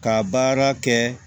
Ka baara kɛ